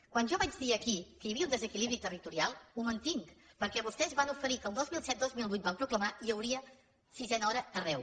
quan jo vaig dir aquí que hi havia un desequilibri territorial ho mantinc perquè vostès van oferir que el dos mil set dos mil vuit ho van proclamar hi hauria sisena hora arreu